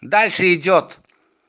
дальше идёт